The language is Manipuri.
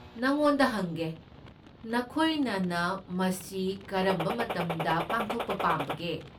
ꯅꯉꯣꯟꯗ ꯍꯪꯒꯦ, ꯅꯈꯣꯏꯅꯅ ꯃꯁꯤ ꯀꯔꯝꯕ ꯃꯇꯝꯗ ꯄꯥꯡꯊꯣꯛꯄ ꯄꯥꯝꯕꯒꯦ?